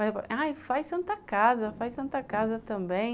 Aí, faz Santa Casa, faz Santa Casa também.